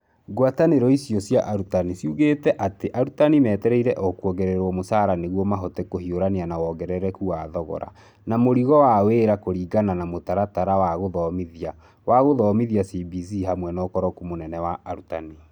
Ngwatanĩro icio cia arutani ciugĩte atĩ arutani metereire o kũongererwo mũcara nĩguo mahote kũhiũrania na wongerereku wa thogora na mũrigo wa wĩra kũringana na Mũtaratara wa Gũthomithia wa Gũthomithia CBC hamwe na ũkoroku mũnene wa arutani.